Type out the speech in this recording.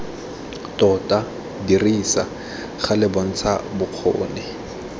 tota dirisa gale bontsha bokgoni